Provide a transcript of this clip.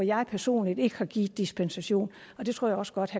jeg personligt ikke har givet dispensation og det tror jeg også godt